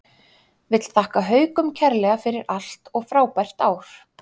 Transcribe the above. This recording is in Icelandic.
Vill þakka Haukum kærlega fyrir allt og frábær ár.